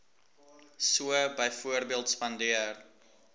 so byvoorbeeld spandeer